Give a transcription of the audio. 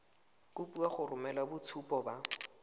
kopiwa go romela boitshupo ba